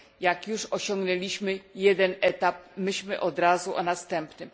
Jak już osiągnęliśmy jeden etap, myślmy od razu o następnym.